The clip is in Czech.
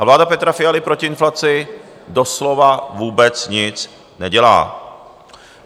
A vláda Petra Fialy proti inflaci doslova vůbec nic nedělá.